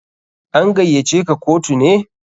An gaiya ce ka kotu ne?